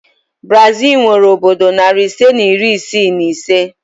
Brazil nwere obodo nari ise na iri isii na ise